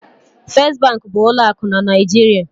First bank bụ ụlọ akụ na Naịjirịa.